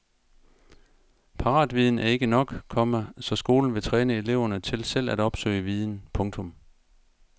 Paratviden er ikke nok, komma så skolen vil træne eleverne til selv at opsøge viden. punktum